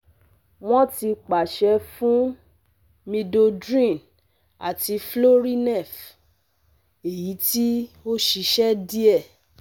Wọ́n ti pàṣẹ fún midodrine àti florinef, èyí tí ó ṣiṣẹ́ díẹ̀